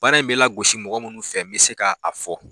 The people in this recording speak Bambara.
Baara in bɛ la gosi mɔgɔ munnu fɛ bɛ se ka a fɔ.